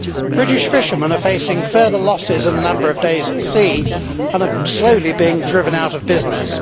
British fishermen are facing further losses in the number of days at sea and are slowly being driven out of business.